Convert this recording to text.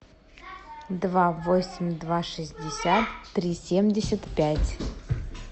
два восемь два шестьдесят три семьдесят пять